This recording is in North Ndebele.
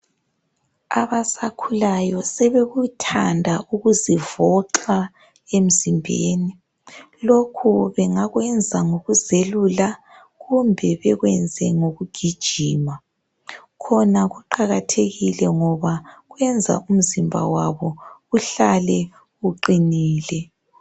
Abasakhulayo sebekuthanda ukuzivoxa emzimbeni. Lokho bengakwenza ngokuzelula kumbe bekwenze ngokugijima. Khona kuqakathekile ngoba kwenza imizimba yabo ihlale iqinile.